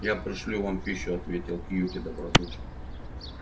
я пришлю вам пищу ответил кьюти добродушно